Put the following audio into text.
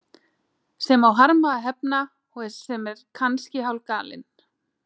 Sem á harma að hefna og sem er kannski hálfgalinn.